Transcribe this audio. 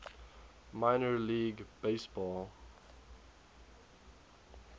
minor league baseball